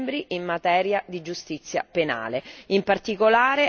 degli Stati membri in materia di giustizia penale.